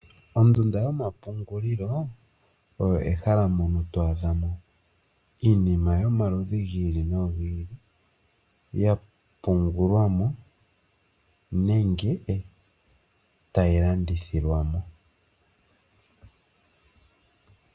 Ondunda yomapungulilo oyo ehala mpoka to adha iinima yomaludhi gi ili nogi ili yapungulwamo nenge tayi landithilwamo.